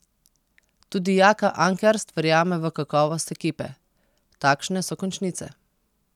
Tudi Jaka Ankerst verjame v kakovost ekipe: "Takšne so končnice.